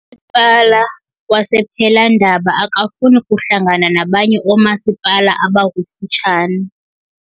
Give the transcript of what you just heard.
Umasipala wasePhelandaba akafuni kuhlangana nabanye oomasipala abakufutshane.